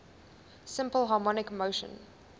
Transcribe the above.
simple harmonic motion